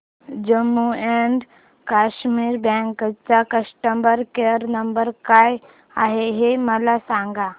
Jammu and Kashmir bank चा customer care number काय आहे हे मला सांगा